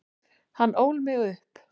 Hann ól mig upp.